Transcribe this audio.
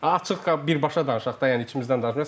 Açıq birbaşa danışaq da, yəni içimizdən danışaq.